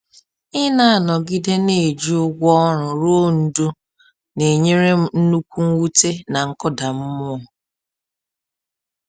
Ịna-anọgide na-eji ụgwọ ọrụ rụọ ndụ n’enyere m nnukwu mwute na nkụda mmụọ